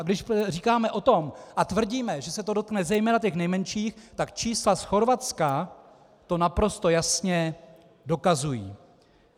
A když říkáme o tom a tvrdíme, že se to dotkne zejména těch nejmenších, tak čísla z Chorvatska to naprosto jasně dokazují.